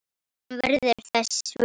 Hún verður þess vör.